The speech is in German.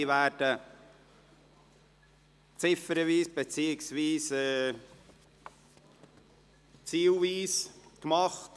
Diese werden ziffernweise beziehungsweise zielweise beraten.